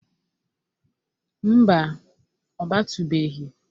Mba, ọ batụbeghi.